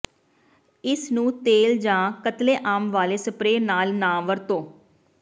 ਇਸ ਨੂੰ ਤੇਲ ਜਾਂ ਕਤਲੇਆਮ ਵਾਲੇ ਸਪਰੇਅ ਨਾਲ ਨਾ ਵਰਤੋ